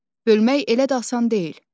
Bölmək elə də asan deyil.